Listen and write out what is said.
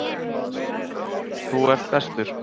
Þú ert bestur.